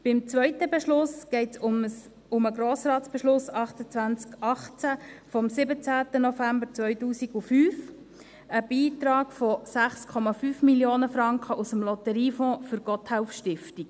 » Beim zweiten Beschluss geht es um den Grossratsbeschluss 2818 vom 17. November 2005, um einen Beitrag von 6,5 Mio. Franken aus dem Lotteriefonds für die Gotthelf-Stiftung.